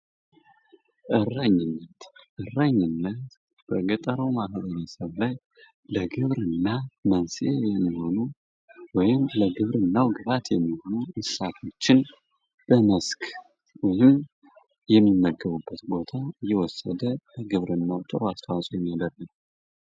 እረኝነት፤ እረኝነት በገጠራማ ማህበረሰብ ላይ ለግብርና መንስኤ የሚሆኑት ወይም ለግብርና ግብዓት የሚሆኑ እንስሳቶችን በመስክ የሚመገቡበት ቦታ የወሰደው በግብርናው ጥሩ አስተዋጽኦ የሚያደርግ ነው።